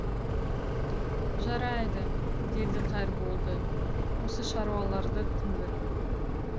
жарайды деді қайырболды осы шаруаларды тындыр